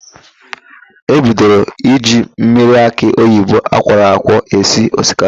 E bidoro iji mmiri akị oyibo akwọrọ akwọ esi osikapa.